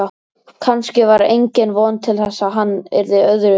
Kannske var engin von til þess að hann yrði öðruvísi